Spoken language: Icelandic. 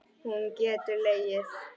Hún getur legið.